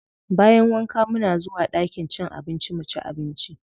Bayan wanka muna zuwa ɗakin cin abinci muci abinci.